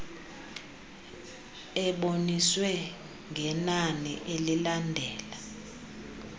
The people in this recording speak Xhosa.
eboniswe ngenani elilandela